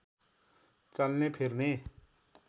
चल्ने फिर्ने